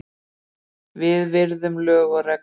Við virðum lög og reglur